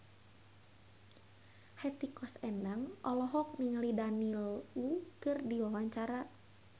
Hetty Koes Endang olohok ningali Daniel Wu keur diwawancara